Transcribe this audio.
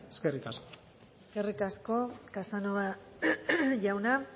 eskerrik asko eskerrik asko casanova jauna